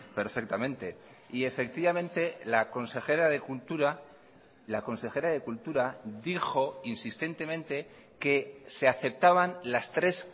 perfectamente y efectivamente la consejera de cultura la consejera de cultura dijo insistentemente que se aceptaban las tres